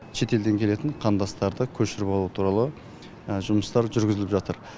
шетелден келетін қандастарды көшіріп алу туралы жұмыстар жүргізіліп жатыр